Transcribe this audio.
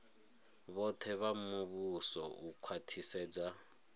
vhoṱhe vha muvhuso u khwaṱhisedza